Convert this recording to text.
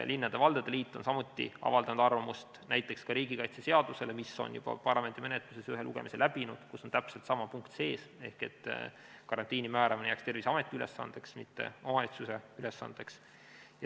Linnade ja valdade liit on samuti avaldanud arvamust näiteks ka riigikaitseseaduse kohta, mis on juba parlamendi menetluses ühe lugemise läbinud ja kus on täpselt sama punkt sees, et karantiini määramine jääks Terviseameti ülesandeks, mitte omavalitsuse ülesandeks.